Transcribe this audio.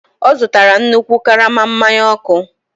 Ọ zụtara nnukwu karama mmanụ ọkụ.